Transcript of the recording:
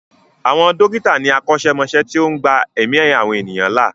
Àwọn dókítà ni akọ́ṣẹ́mọṣẹ́ tó ń gba ẹ̀mí àwọn ènìyàn là.